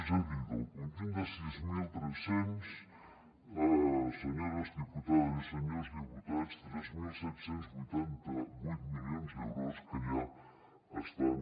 és a dir del conjunt de sis mil tres cents senyores diputades i senyors diputats tres mil set cents i vuitanta vuit milions d’euros que ja estan